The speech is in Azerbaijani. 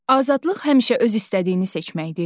Azadlıq həmişə öz istədiyini seçməkdir?